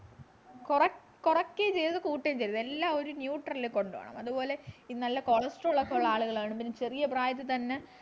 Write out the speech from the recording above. കൊറ കുറക്കുകയും ചെയ്യരുത് കൂട്ടും ചെയ്യരുത് എല്ലാവരും neutral ൽ കൊണ്ടുപോണം അതുപോലെ ഈ നല്ല cholesterol ളൊക്കെ ഉള്ള ആളുകളും പിന്നെ ചെറിയ പ്രായത്തിൽ തന്നെ